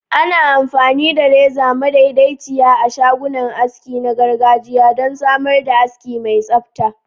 Ana amfani da reza madaidaiciya a shagunan aski na gargajiya don samar da aski mai tsabta.